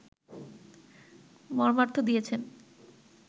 মর্মার্থ দিয়াছেন